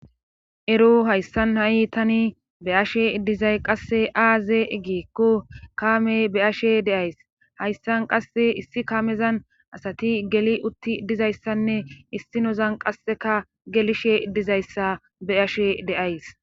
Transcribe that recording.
ero hayssan ha7i tani be'ashe dizay qasse aaze gikko kaamey be ashe deays hayssan qasse issi kaamezan asati geli utti dizayssanne issinozan qasseka gelishe dizayssa be ashe de'ays